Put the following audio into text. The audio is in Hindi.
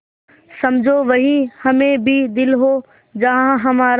समझो वहीं हमें भी दिल हो जहाँ हमारा